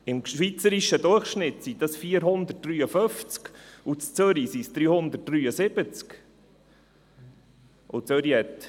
Im schweizerischen Durchschnitt sind es 453 und in Zürich sind es 373 Einwohner.